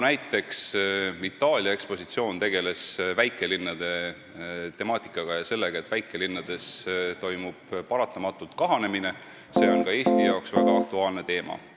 Itaalia ekspositsioon tegeles näiteks väikelinnade temaatikaga – sellega, et väikelinnades toimub paratamatult kahanemine – ja see on ka Eesti jaoks väga aktuaalne teema.